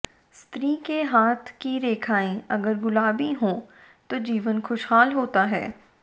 स्त्री के हाथ की रेखाएं अगर गुलाबी हों तो जीवन खुशहाल होता है